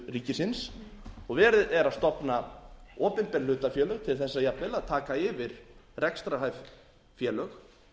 ríkisins og verið er að stofna opinber hlutafélög til þess jafnvel að taka yfir rekstrarhæf félög